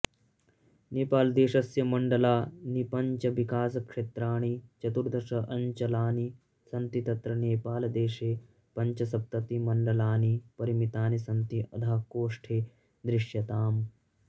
नेपालदेशस्य मण्डलानिपञ्चविकासक्षेत्राणि चतुर्दश अञ्चलानि सन्ति तत्र नेपालदेशे पञ्चसप्तति मण्डलानी परिमीतानि सन्ति अधः कोष्ठे दृश्यताम्